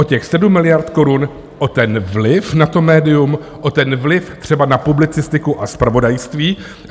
O těch 7 miliard korun, o ten vliv na to médium, o ten vliv třeba na publicistiku a zpravodajství.